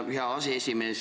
Tänan, hea aseesimees!